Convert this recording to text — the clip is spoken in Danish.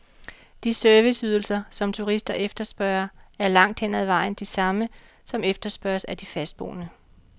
De serviceydelser, som turister efterspørger, er langt hen ad vejen de samme, som efterspørges af de fastboende.